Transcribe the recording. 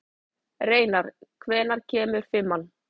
Reinar, hvenær kemur fimman?